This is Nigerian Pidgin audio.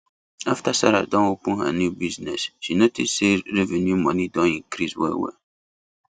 after sarah don open her new bussiness she notice say revenue money don increase well wel